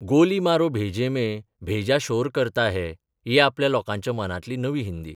गोली मारो भेजें मे भेजा शोर करता है ही आपली लोकांच्या मनांतली नवी हिंदी.